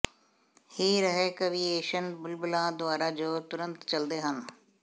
ਹਿ ਰਹੇ ਕਵੀਏਸ਼ਨ ਬੁਲਬੁਲਾਂ ਦੁਆਰਾ ਜੋ ਤੁਰੰਤ ਚੱਲਦੇ ਹਨ